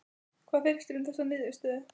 Hvað finnst þér um þessa niðurstöðu?